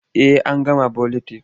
Eh an gama buletin.